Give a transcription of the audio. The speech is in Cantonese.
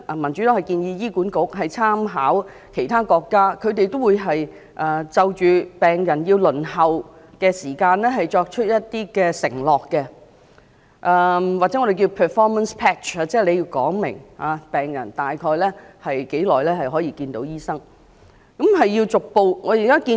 民主黨建議醫管局參考其他國家的做法，就着病人輪候時間作出承諾，或我們稱為 performance pledge， 即醫管局要清楚說出病人大約需等待多久便能看到醫生。